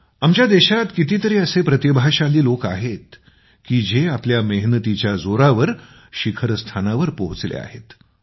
मित्रांनो आमच्या देशात कितीतरी असे प्रतिभाशाली लोक आहेत की जे आपल्या मेहनतीच्या जोरावर शिखऱस्थानावर पोहचले आहेत